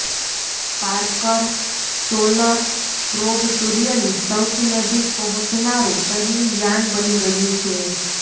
Parker solar probe સૂર્યની સૌથી નજીક પહોંચનારું પહેલુ યાન બની ગયું છે